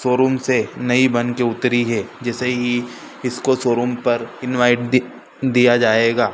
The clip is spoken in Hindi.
शोरूम से नई बनके उतरी है जिसे ही इसको शो रूम पर इनवाइट दि दिया जाएगा--